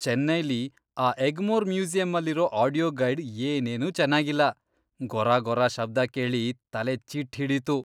ಚೆನ್ನೈಲಿ ಆ ಎಗ್ಮೋರ್ ಮ್ಯೂಸಿಯಮ್ಮಲ್ಲಿರೋ audio guide ಏನೇನೂ ಚೆನಾಗಿಲ್ಲ, ಗೊರಗೊರ ಶಬ್ದ ಕೇಳಿ ತಲೆಚಿಟ್ಟ್ ಹಿಡೀತು.